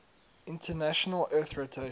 international earth rotation